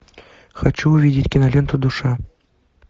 хочу увидеть киноленту душа